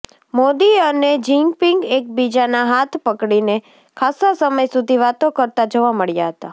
મોદી અને જિનપિંગ એકબીજાના હાથ પકડીને ખાસ્સા સમય સુધી વાતો કરતા જોવા મળ્યા હતા